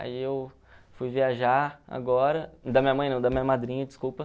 Aí eu fui viajar agora, da minha mãe não, da minha madrinha, desculpa.